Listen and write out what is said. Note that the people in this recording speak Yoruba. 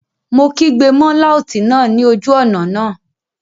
Mo kígbe mọ́ láùtì náà ní ojú ọ̀nà náà